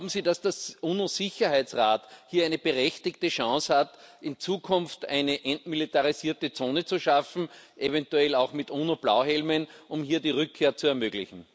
Glauben Sie, dass der UNO Sicherheitsrat hier eine berechtigte Chance hat, in Zukunft eine entmilitarisierte Zone zu schaffen, eventuell auch mit UNO Blauhelmen, um hier die Rückkehr zu ermöglichen?